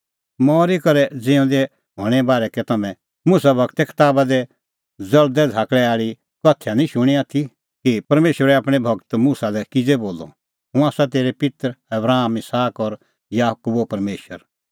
मरी करै ज़िऊंदै हणें बारै कै तम्हैं मुसा गूरे कताबा दी ज़ल़दै झ़ाकल़ा आल़ी कथैया निं शूणीं आथी कि परमेशरै आपणैं गूर मुसा लै किज़ै बोलअ हुंह आसा तेरै पित्तर आबराम इसहाक और याकूबो परमेशर